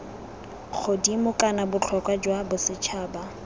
godimo kana botlhokwa jwa bosetšhaba